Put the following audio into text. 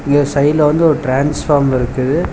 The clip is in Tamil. இங்க சைடுல வந்து ஒரு டிரான்ஸ்ஃபார்ம் இருக்குது.